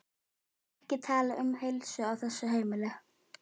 Ó, ekki tala um heilsu á þessu heimili.